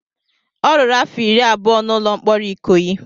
Ọ rụrụ afọ iri abụọ na ụlọ mkpọrọ Ikoyi.